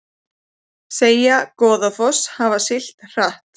Segja Goðafoss hafa siglt hratt